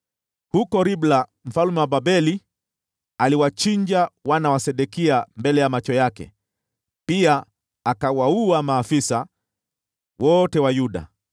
Huko Ribla mfalme wa Babeli aliwachinja wana wa Sedekia mbele ya macho yake. Pia akawaua maafisa wote wa Yuda.